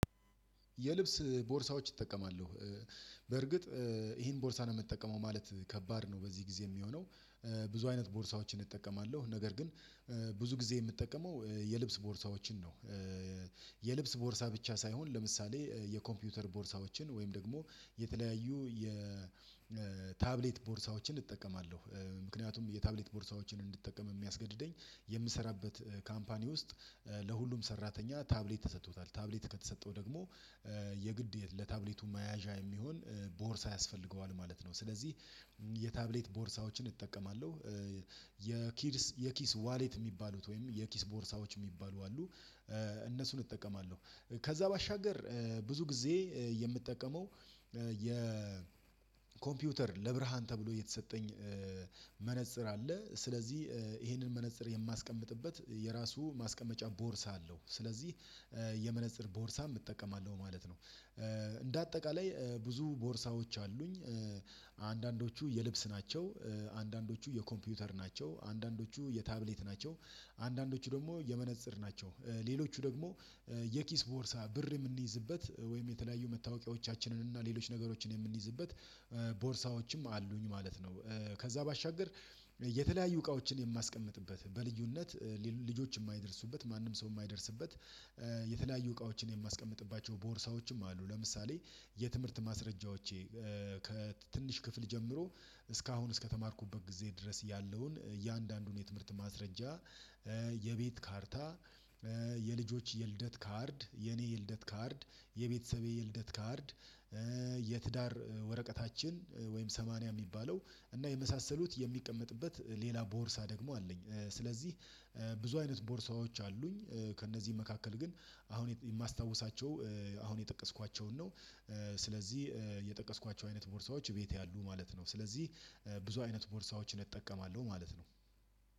የልብስ ቦርሳዎች እጠቀማለሁ በርግጥ ይሄን ቦርሳ ነው የምጠቀመው ማለት ከባድ ነው በዚህ ጊዜ የሚሆነው ብዙ አይነት ቦርሳዎችን እጠቀማለሁ ነገር ግን ብዙ ጊዜ የምጠቀመው የልብስ ቦርሳዎችን ነው እ የልብስ ቦርሳ ብቻ ሳይሆን ለምሳሌ የኮምፒውተር ቦርሳዎችን ወይም ደግሞ የተለያዩ የ የታብሌት ቦርሳዎችን እጠቀማለሁ። ምክንያቱም የታብሌት ቦርሳዎችን እንድጠቀም የሚያስገድደኝ የምሰራበት ካምፓኒ ውስጥ ለሁሉም ሰራተኛ ታብሌት ተሰጥቶታል ታብሌት ከተሰጠው ደግሞ የግድ የለ ለታብሌቱ መያዣ የሚሆን ቦርሳ ያስፈልገዋል ማለት ነው። ስለዚህ የታብሌት ቦርሳዎችን እጠቀማለሁ የኪድስ የኪስ ዋሌት የሚባሉት ወይም የኪስ ቦርሳዎች የሚባሉ አሉ። እ እነሱን እጠቀማለሁ። ከዛ ባሻገር ብዙ ጊዜ የምጠቀመው አ የ የኮምፒውተር ለብርሃን ተብሎ የተሰጠኝ መነፅር አለ። ስለዚህ ይሄንን መነፅር የማስቀምጥበት የራሱ ማስቀመጫ ቦርሳ አለው። ስለዚህ እ የመነፀር ቦርሳም እጠቀማለሁ ማለት ነው። እንዳጠቃላይ ብዙ ቦርሳዎች አሉኝ። አንዳንዶቹ የልብስ ናቸው አንዳንዶቹ የኮምፒውተር ናቸው። አንዳንዶቹ የታብሌት ናቸው። አንዳንዶቹ ደግሞ የመነጽር ናቸው። ሌሎቹ ደግሞ የኪስ ቦርሳ ብር የምንይዝበት ወይም የተለያዩ መታወቂያዎቻችንን እና ሌሎች ነገሮችን የምንይዝበት ቦርሳዎችም አሉኝ ማለት ነው። ከዛ ባሻገር የተለያዩ እቃዎችን የማስቀምጥበት በልዩነት ልጆች የማይደርሱበት ማንም ሰው የማይደርስበት የተለያዩ እቃዎችን የማያስቀምጥባቸው ቦርሳዎችም አሉ ለምሳሌ የትምህርት ማስረጃዎቼ ከትንሽ ክፍል ጀምሮ እስካሁን እስከተማርኩበት ጊዜ ድረስ ያለውን እያንዳንዱን የትምህርት ማስረጃ የቤት ካርታ የልጆች የልደት ካርድ የኔ የልደት ካርድ የቤተሰቤ የልደት ካርድ የትዳር ወረቀታችን ወይም ሰማንያ የሚባለው እና የመሳሰሉት የሚቀመጥበት ሌላ ቦርሳ ደግሞ አለኝ ስለዚህ ብዙ አይነት ቦርሳዎች አሉኝ ከእነዚህ መካከል ግን አሁን የማስታውሳቸው አሁን የጠቀስኳቸውን ነው ስለዚህ የጠቀስኳቸው አይነት ቦርሳዎች እቤቴ አሉ ማለት ነው ስለዚህ ብዙ አይነት ቦርሳዎችን እጠቀማለሁ ማለት ነው